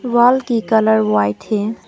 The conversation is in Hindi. वॉल की कलर व्हाइट है।